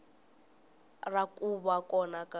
ra ku va kona ka